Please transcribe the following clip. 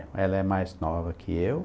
É, ela é mais nova que eu.